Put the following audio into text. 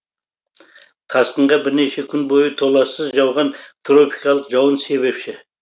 тасқынға бірнеше күн бойы толассыз жауған тропикалық жауын себепші